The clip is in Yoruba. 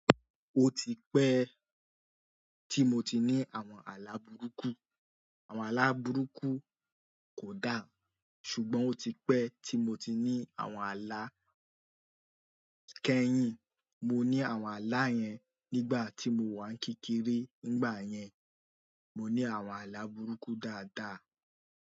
O ti pẹ́ tí mo ti ní àwọn àlà burúkú. Àwọn àlà burúkú kò dá, ṣùgbọ́n ó ti pẹ́ tí mo ti ní àwọn àlà kẹ́yìn. Mo ní àwọn àlà yẹn nígbà tí mo wà ní kékeré, nígbà yẹn, mo ní àwọn àlà burúkú dáadáa.